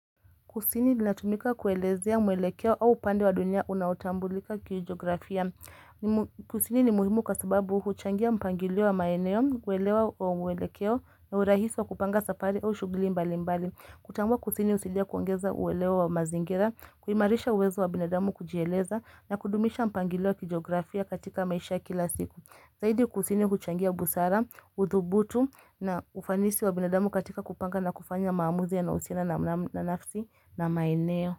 Kusini inatumika kuelezea mwelekeo au upande wa dunia unautambulika kijiografia. Kusini ni muhimu kwa sababu huchangia mpangilio wa maeneo, kuelewa wa mwelekeo na urahisi wa kupanga safari au shughuli mbali mbali. Kutambua kusini husaidia kuongeza uwelewa wa mazingira, kuhimarisha uwezo wa binadamu kujieleza na kudumisha mpangilio wa kijiografia katika maisha kila siku. Zaidi kusini kuchangia busara, udhubutu na ufanisi wa binadamu katika kupanga na kufanya maamuzi yanao husiana na nafsi na maeneo.